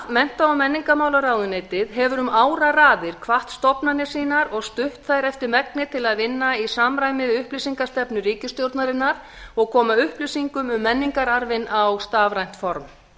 mennta og menningarmálaráðuneytið hefur um áraraðir hvatt stofnanir sínar og stutt þær eftir megni til að vinna í samræmi við upplýsingastefnu ríkisstjórnarinnar og koma upplýsingum um menningararfinn á stafrænt form